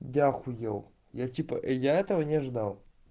я ахуел я типа и я этого не ждал